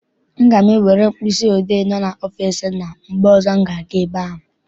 Aga m ewere mkpịsị odee dị n'ọfịịsi nna m mgbe ọzọ m ga- aga ebe ahụ.